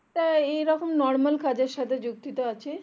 আমি আপনার এইরকম normal কাজের সাথে যুক্তিত আছি